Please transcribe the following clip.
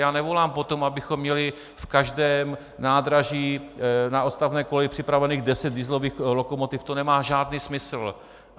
Já nevolám po tom, abychom měli v každém nádraží na odstavné koleji připraveno deset dieselových lokomotiv, to nemá žádný smysl.